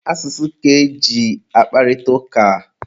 Asụsụ ka eji akparịta ụka.